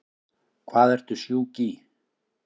Hvað ertu sjúk í?